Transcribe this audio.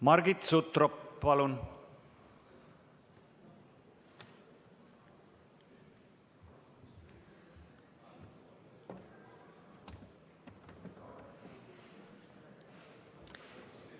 Margit Sutrop, palun!